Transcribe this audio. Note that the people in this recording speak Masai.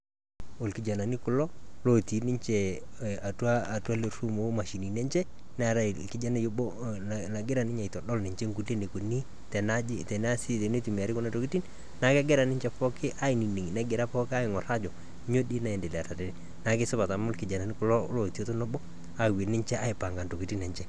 Olkijanani kulo loti ninchee atua atua lee room lo mashinini enchee, neetai kijani oboo nagira ninye aitadol nkulee neikoni teneasi tanaiji tenetumiari kuna ntokitin.. Naa kegira ninchee pooki anining' nagira pooki ang'orr ajo nyoo dei naendelea tenee. Naa kesipaat amu kulo lotii tonoboo awuen ninchee aipang'a ntokitin enchee.